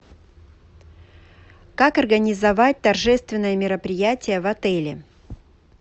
как организовать торжественное мероприятие в отеле